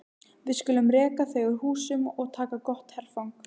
Við skulum reka þau úr húsum og taka gott herfang!